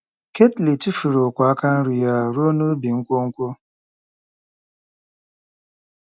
Ketly tufuru ogwe aka nri ya ruo n'ubu nkwonkwo.